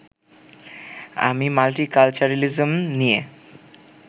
আমি মাল্টিকালচারিলিজম নিয়ে